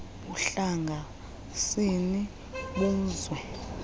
buhlanga sini buzwe